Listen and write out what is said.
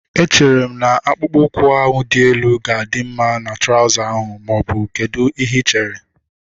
Echere m na akpụkpọ ụkwụ ahu dị elu ga-adị mma na trauza ahu maọbụ kedụ ihe ị chere?